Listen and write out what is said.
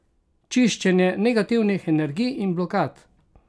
Čiščenje negativnih energij in blokad!